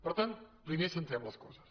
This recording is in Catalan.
per tant primer centrem les coses